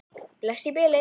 Bless í bili.